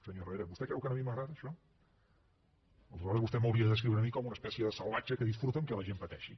senyor herrera vostè creu que a mi m’agrada això aleshores vostè m’hauria de descriure a mi com una espècie de salvatge que disfruta en el fet que la gent pateixi